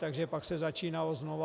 Takže pak se začínalo znovu.